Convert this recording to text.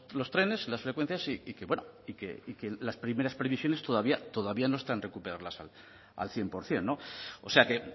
los trenes las frecuencias y que bueno y que las primeras previsiones todavía no está en recuperarlas al cien por ciento no o sea que